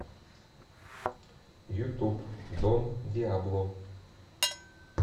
ютуб дон диабло